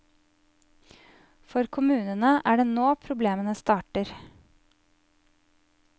For kommunene er det nå problemene starter.